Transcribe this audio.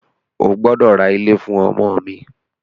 O gbọ́dọ̀ ra ilé fún ọmọ mi!